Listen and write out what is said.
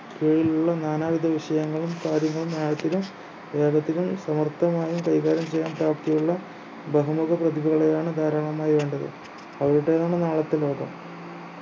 കീഴിലുള്ള നാനാവിധ വിഷയങ്ങളും കാര്യങ്ങളും ആഴത്തിലും വേഗത്തിലും സമർത്ഥമായും കൈകാര്യം ചെയ്യാൻ പ്രാപ്തിയുള്ള ബഹുമുഖ പ്രതിഭകളെയാണ് ധാരാളമായി വേണ്ടത് അവിടെയാണ് നാളത്തെ ലോകം